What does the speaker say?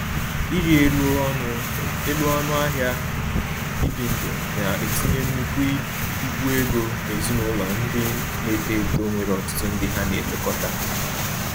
Ịrị elu ọnụ elu ọnụ ahịa ibi ndụ na-etinye nnukwu ibu ego n’ezinụlọ ndị na-eto eto nwere ọtụtụ ndị ha na-elekọta